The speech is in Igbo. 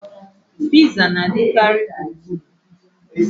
Piza na-adịkarị gburugburu